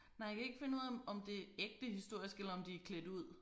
Nej jeg kan ikke finde ud af om om det ægte historisk eller om de er klædt ud